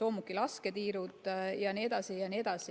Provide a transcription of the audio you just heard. soomukite lasketiirud jne.